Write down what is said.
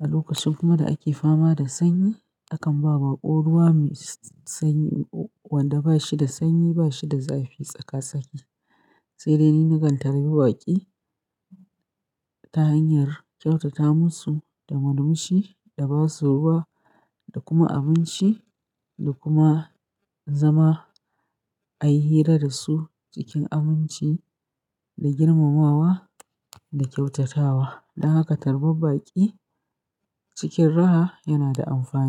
A lokacin kuma da ake fama da sanyi, akan ba baƙo ruwa mai sanyi wanda ba shi da sanyi, ba shi da zafi tsaka-tsaki. Sai dai ni na kan tarbi baƙi ta hanyar kyautata musu da murmushi da ba su ruwa da kuma abinci da kuma zama a yi hira da su cikin aminci da girmamawa da kyautatawa. Don haka tarbar baƙi cikin raha yana da amfani.